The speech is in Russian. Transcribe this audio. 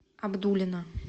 абдулино